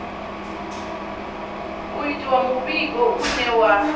u itiwa muvhigo une wa